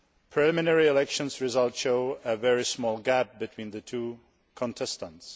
Preliminary election results show a very small gap between the two contestants.